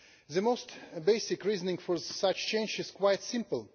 The most basic reasoning for such change is quite simple.